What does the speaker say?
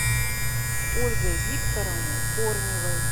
ольгой викторовной корневой